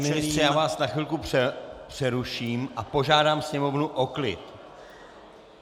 Pane ministře, já vás na chvilku přeruším a požádám sněmovnu o klid.